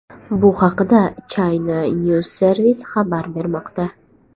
Bu haqda China News Service xabar bermoqda .